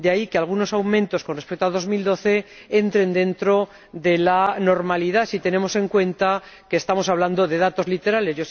De ahí que algunos aumentos con respecto a 2012 entren dentro de la normalidad si tenemos en cuenta que estamos hablando de datos literales.